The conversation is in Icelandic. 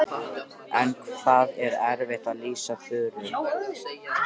En það er erfitt að lýsa Þuru.